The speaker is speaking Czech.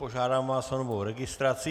Požádám vás o novou registraci.